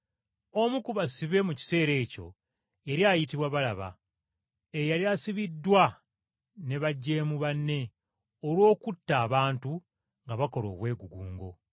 Omu ku basibe mu kiseera ekyo yali ayitibwa Balaba, eyali asibiddwa ne bajeemu banne olw’okutta abantu nga bakola obwegugungo.